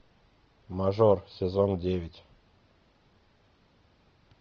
мажор сезон девять